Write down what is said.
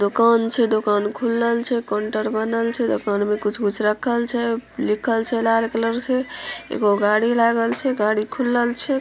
दुकान से दुकान खुलल छै काउंटर बनल छै दुकान मे कुछ-कुछ रखल छै लिखल छै लाल कलर से एगो गाड़ी लागल छै गाड़ी खुलल छै ।